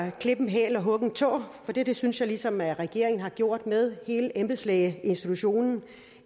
at klippe en hæl og hugge en tå for det synes jeg ligesom at regeringen har gjort med hele embedslægeinstitutionen